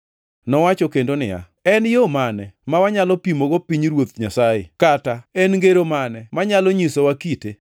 Nowacho kendo niya, “En yo mane ma wanyalo pimogo pinyruoth Nyasaye, kata en ngero mane manyalo nyisowa kite?